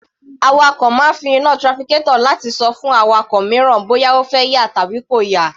Awakọ̀ máa ń fi iná trafficator láti ṣọ fún awakọ̀ mìíràn bóyá ó fẹ́ yà tàbí kò yà.